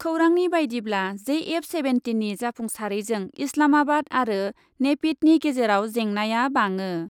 खौरांनि बायदिब्ला, जेएफ सेभेन्टिननि जाफुंसारैजों इस्लामाबाद आरो नेपिडनि गेजेराव जेंनाया बाङो।